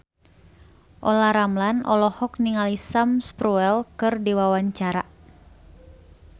Olla Ramlan olohok ningali Sam Spruell keur diwawancara